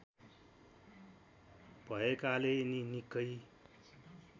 भएकाले यिनी निकै